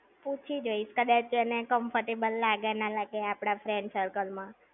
પૂછી જોઇશ. કદાચ એને comfortable લાગે ના લાગે આપડા friend circle માં!